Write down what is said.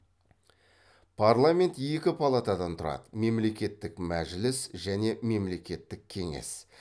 парламент екі палатадан тұрады мемлекеттік мәжіліс және мемлекеттік кеңес